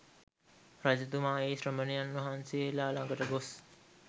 රජතුමා ඒ ශ්‍රමණයන් වහන්සේලා ළඟට ගොස්